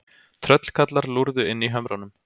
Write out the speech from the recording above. Tröllkarlar lúrðu inni í hömrunum.